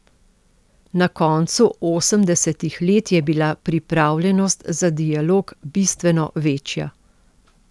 Na koncu osemdesetih let je bila pripravljenost za dialog bistveno večja.